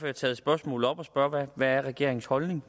har taget spørgsmålet op og spørger hvad regeringens holdning